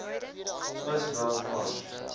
vis wel vars